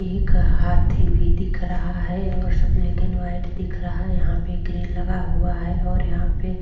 एक हाथी भी दिख रहा है और सब ब्लॅक एंड व्हाइट दिख रहा है और यहां पे ग्रिल लगा हुआ है और यहा पे --